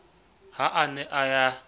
ha a ne a ya